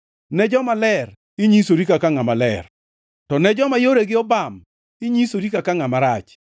ne jomaler, inyisori kaka ngʼama ler, to ne joma yoregi obam, inyisori kaka ngʼama rach.